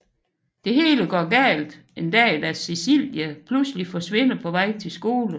Det hele går galt en dag da Cecilie pludselig forsvinder på vej til skole